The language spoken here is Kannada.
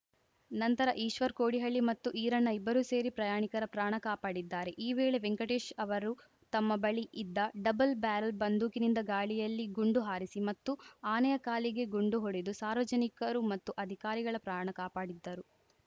ನಂತರ ಈಶ್ವರ್‌ ಕೋಡಿಹಳ್ಳಿ ಮತ್ತು ಈರಣ್ಣ ಇಬ್ಬರೂ ಸೇರಿ ಪ್ರಯಾಣಿಕರ ಪ್ರಾಣ ಕಾಪಾಡಿದ್ದಾರೆ ಈ ವೇಳೆ ವೆಂಕಟೇಶ್‌ ಅವರು ತಮ್ಮ ಬಳಿ ಇದ್ದ ಡಬ್ಬಲ್‌ ಬ್ಯಾರಲ್‌ ಬಂದೂಕಿನಿಂದ ಗಾಳಿಯಲ್ಲಿ ಗುಂಡು ಹಾರಿಸಿ ಮತ್ತು ಆನೆಯ ಕಾಲಿಗೆ ಗುಂಡು ಹೊಡೆದು ಸಾರ್ವಜನಿಕರು ಮತ್ತು ಅಧಿಕಾರಿಗಳ ಪ್ರಾಣ ಕಾಪಾಡಿದ್ದರು